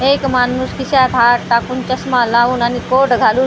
एक माणूस खिशात हात टाकून चश्मा लावून आणि कोट घालून आणि --